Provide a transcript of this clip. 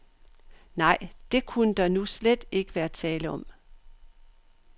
Nej, det kunne der nu slet ikke være tale om.